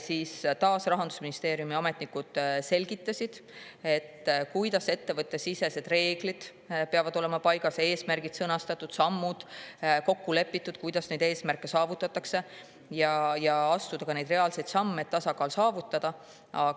Rahandusministeeriumi ametnikud selgitasid, et ettevõtte sisereeglites peavad olema eesmärgid sõnastatud, kokku lepitud sammud, kuidas neid eesmärke saavutatakse, aga astuda ka reaalseid samme, et tasakaal saavutada.